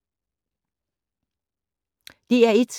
DR1